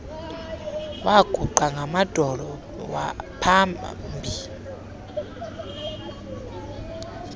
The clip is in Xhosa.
waguqa ngamadolo pahambi